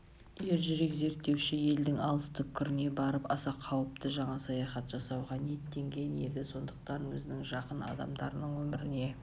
ержүрек зерттеуші елдің алыс түкпіріне барып аса қауіпті жаңа саяхат жасауға ниеттенген еді сондықтан өзінің жақын адамдарының өміріне